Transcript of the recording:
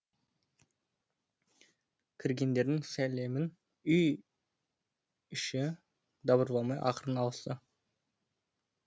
кіргендердің сәлемін үй іші дабырламай ақырын алысты